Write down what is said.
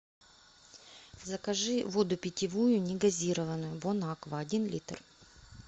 закажи воду питьевую негазированную бон аква один литр